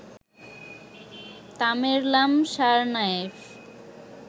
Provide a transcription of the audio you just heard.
Tamerlan Tsarnaev